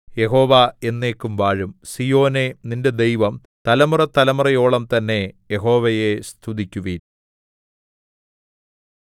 യഹോവ എന്നേക്കും വാഴും സീയോനേ നിന്റെ ദൈവം തലമുറതലമുറയോളം തന്നെ യഹോവയെ സ്തുതിക്കുവിൻ